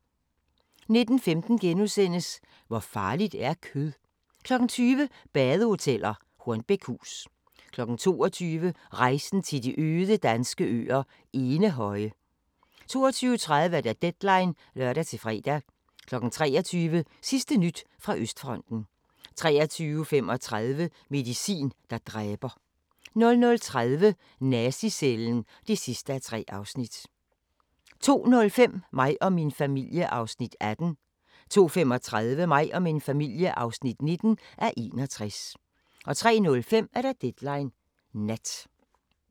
19:15: Hvor farligt er kød? * 20:00: Badehoteller - Hornbækhus 22:00: Rejsen til de øde danske øer – Enehøje 22:30: Deadline (lør-fre) 23:00: Sidste nyt fra Østfronten 23:35: Medicin, der dræber 00:30: Nazi-cellen (3:3) 02:05: Mig og min familie (18:61) 02:35: Mig og min familie (19:61) 03:05: Deadline Nat